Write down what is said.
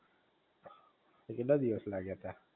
તે કેટલા દિવસ લાગ્યા તા?